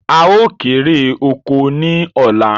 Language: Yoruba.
Áà ó kéré oko ni ọ̀la